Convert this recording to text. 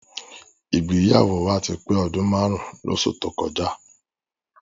Ìgbéyàwó wa ti pé ọdún márùn-ún lóṣù tó kọjá.